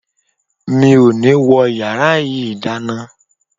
Mi ò ní wọ yàrá yìí dáná.